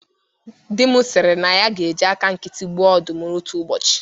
Di m sịrị na ọ ga-eji aka nkịtị gbuo ọdụm otu ụbọchị